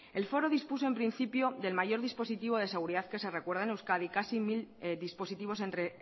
el foro dispuso en principio del mayor dispositivo de seguridad que se recuerda en euskadi casi mil dispositivos entre